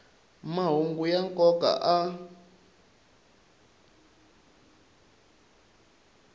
mahungu ya nkoka a